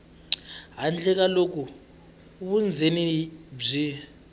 handle ka loko vundzeni byi